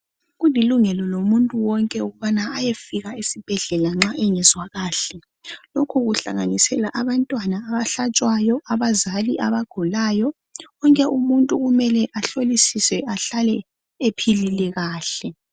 Kulilungelo lomuntu wonke ukubana ayefika esibhedlela nxa engezwa kahle. Lokho kuhlanganisela abantwana abahlatshwayo, abazali abagulayo. Wonke umuntu kumele ahlolisiswe ahlale ephilile kahle.